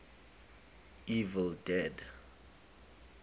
evil dead